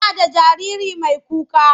Tana da jariri mai kuka.